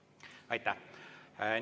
Aitäh!